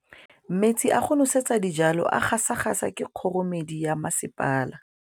Metsi a go nosetsa dijalo a gasa gasa ke kgogomedi ya masepala.